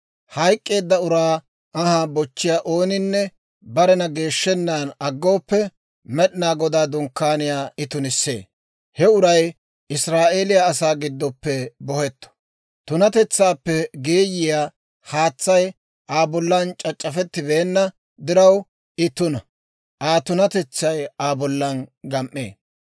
Hayk'k'eedda uraa anhaa bochchiyaa ooninne barena geeshshennan aggooppe, Med'inaa Godaa Dunkkaaniyaa I tunissee; he uray Israa'eeliyaa asaa giddoppe bohetto. Tunatetsaappe geeyiyaa haatsay Aa bollan c'ac'c'afettibeenna diraw, I tuna; Aa tunatetsay Aa bollan gam"ee.